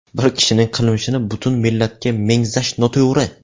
Bir kishining qilmishini butun millatga mengzash noto‘g‘ri!